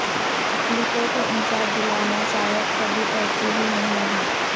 اقلیتوں کو انصاف دلانا شاید کبھی ترجیح ہی نہیں رہا